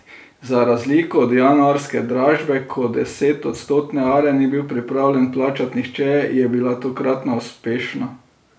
Za razliko od januarske dražbe, ko desetodstotne are ni bil pripravljen plačati nihče, je bila tokratna uspešna.